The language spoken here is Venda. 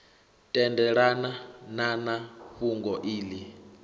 tendelana na na fhungo iḽi